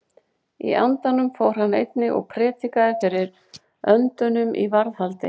Í andanum fór hann einnig og prédikaði fyrir öndunum í varðhaldi.